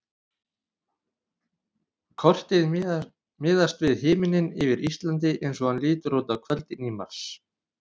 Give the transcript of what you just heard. Kortið miðast við himininn yfir Íslandi eins og hann lítur út á kvöldin í mars.